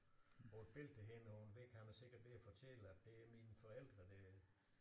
På et billede der hænger på en væg han er sikkert ved at fortælle at det er mine forældre der